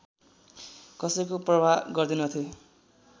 कसैको परवाह गर्दैनथे